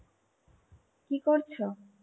কি করছো?